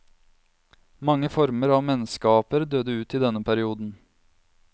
Mange former av menneskeaper døde ut i denne perioden.